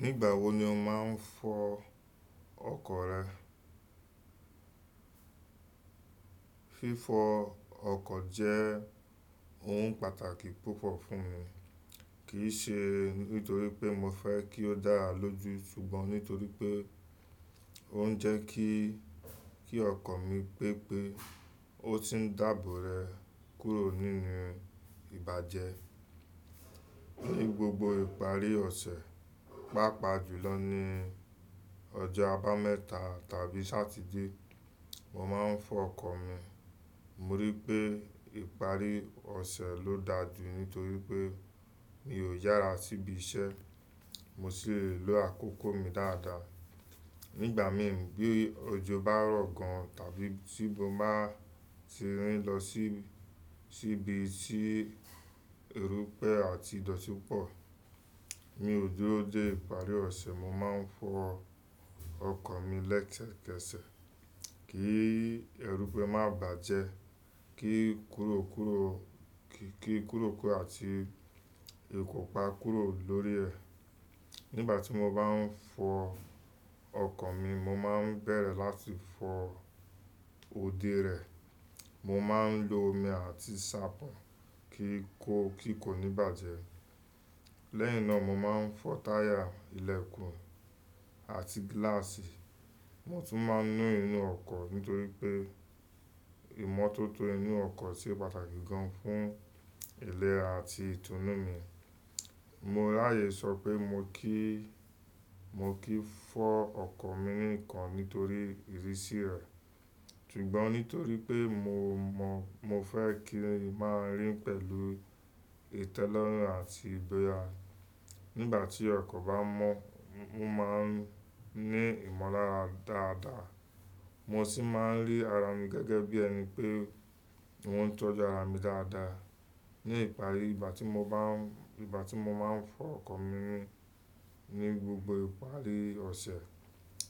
Nígbà wo ni o máa ń fọ ọkọ̀ rẹ? Fífọ ọkọ̀ jẹ́ ohun pàtàkì púpọ̀ fún mi, kì í ṣe nítorí pé mo fẹ́ kí ó dára lójú ṣùgbọ́n nítorí pé ó ń jẹ́ kí, kí ọkọ̀ mi pẹ́ pé ó sì ń dábò rẹ̀ kúrò nínú ìbàjẹ́. Ni gbogbo ìparí ọ̀sẹ̀, pàápàá jùlọ ni ọjọ́ abámẹ́ta tàbí Satide, mo máa ń fọ ọkọ̀ mi. Mo rí pé ìparí ọ̀sẹ̀ ló daa jù nítorí pé mi ò yára síbi iṣẹ́, mo sì le lo àkókò mi dáadáa. Nígbà mi ń bi ọjọ́ bá rọ̀ gan tàbí tí mo bá ti rìn lọ síbi tí erùpẹ̀ àti ìdọ̀tí pọ̀, ní ojú ọjọ́ ìparí ọ̀sẹ̀ mo máa ń fọ ọkọ̀ mi lẹ́sẹ̀kẹsẹ̀ kí erùpẹ̀ má bàjẹ́, kí kúrò kúrò àti eko pa kúrò lórí ẹ̀. Nígbà tí mo bá ń fọ ọkọ̀ mi, mo máa ń bẹ̀rẹ̀ láti fọ òde rẹ̀. Mo máa ń lo omi àti ṣàpọ̀n kí kò ní bàjẹ́. Lẹ́yìn náà mo máa ń fọ táyà, ìlẹ̀kùn àti gíláàsì. Mo tún máa ń nu inú ọkọ̀ nítorí pé ìmọ́tótó inú ọkọ̀ sì pàtàkì gan fún ilẹ̀ra àti ìtùnú mi. Mo ráyè sọ pé mo kì í, mo kì í fọ ọkọ̀ mi nìkan nítorí ìrísí rẹ̀, ṣùgbọ́n nítorí pé mo mọ, mo fẹ́ kí i máa rìn pẹ̀lú ìtẹ́lọ́rùn àti ìgbóya. Nígbà tí ọkọ̀ bá mọ́, mo máa ń ní ìmọ̀lára dáadáa. Mo sì máa ń rí ara mi gẹ́gẹ́ bí ẹni pé wọ́n ń tọ́jú ara mi dáadáa. Ní ìparí, ìgbà tí mo bá ń, ìgbà tí mo máa ń fọ ọkọ̀ mi ni ní gbogbo ìparí ọ̀sẹ̀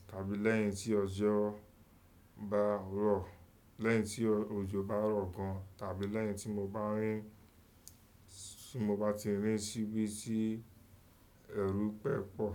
tàbí lẹ́yìn tí ọjọ́ bá rọ̀, lẹ́yìn tí òjò bá rọ̀ gan tàbí lẹ́yìn tí mo bá ti rìn síbi tí erùpẹ̀ pọ̀